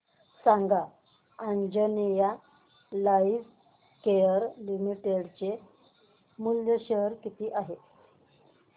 सांगा Anjaneya lifecare limited चे share मूल्य किती आहे